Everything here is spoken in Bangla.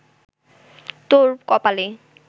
তোর কপালে